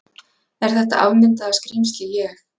Er þetta afmyndaða skrímsli ég?